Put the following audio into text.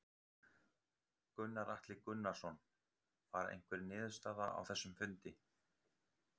Gunnar Atli Gunnarsson: Var einhver niðurstaða á þessum fundi?